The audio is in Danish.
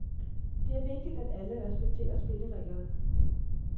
Det er vigtigt, at alle respekterer spillereglerne.